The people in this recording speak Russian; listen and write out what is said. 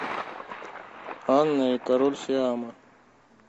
анна и король сиама